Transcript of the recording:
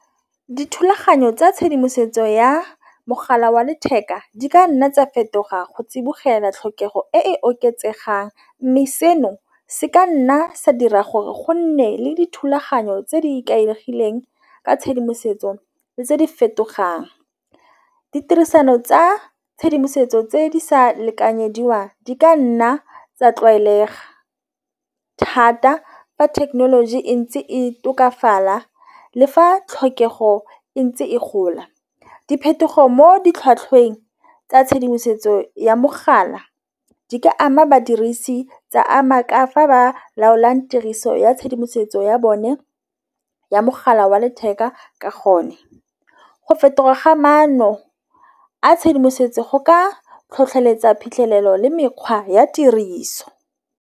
Dithulaganyo tsa tshedimosetso ya mogala wa letheka di ka nna tsa fetoga go tsibogela tlhokego e oketsegang, mme seno se ka nna sa dira gore go nne le dithulaganyo tse di ikaegileng ka tshedimosetso le tse di fetogang. Ditirisano tsa tshedimosetso tse di sa lekanyediwang di ka nna tsa tlwaelega thata fa thekenoloji e ntse e tokafala. Le fa tlhokego e ntse e gola diphetogo mo di tlhwatlhweng tsa tshedimosetso ya mogala di ka ama badirisi tsa ama ka fa ba laolang tiriso ya tshedimosetso ya bone ya mogala wa letheka ke gone. Go fetoga ga maano a tshedimosetso go ka tlhotlheletsa phitlhelelo le mekgwa ya tiriso.